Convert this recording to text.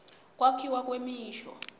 kwakhiwa kwemisho